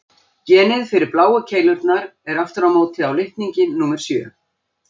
Genið fyrir bláu keilurnar er aftur á móti á litningi númer sjö.